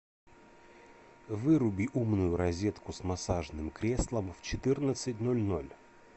выруби умную розетку с массажным креслом в четырнадцать ноль ноль